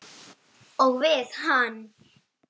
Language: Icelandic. Og við hann.